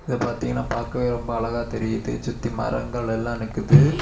இது பாத்தீங்கன்னா பாக்கவே ரொம்ப அழகா தெரியுது சுத்தி மரங்கள் எல்லாம் நிக்குது.